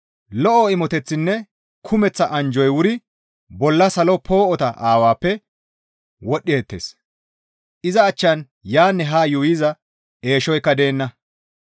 Lo7o imoteththinne kumeththa anjjoy wuri bolla salo poo7ota Aawappe wodhdheettes; iza achchan yaanne haa yuuyiza eeshoykka deenna.